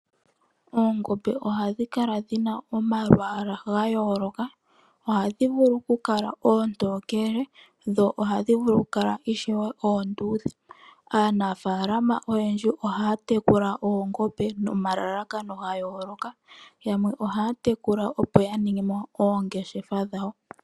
Oongombe ohadhi kala dhina omalwaala gayooloka ohadhi vulu okukala oontokele dho ohadhi vulu ishewe okukala oondhudhe. Aanafaalama oyendjiohaya tekula oongombe nomalalakano yayooloka yamwe ohaya tekula opo ya ninge mo oongeshefa dhawo.